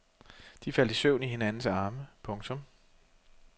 De faldt i søvn i hinandens arme. punktum